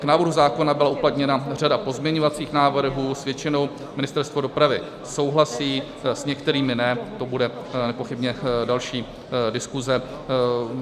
K návrhu zákona byla uplatněna řada pozměňovacích návrhů, s většinou Ministerstvo dopravy souhlasí, s některými ne, to bude nepochybně další diskuse.